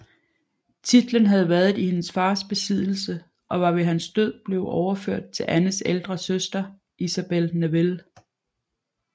Titlen havde været i hendes fars besiddelse og var ved hans død blevet overført til Annes ældre søster Isabel Neville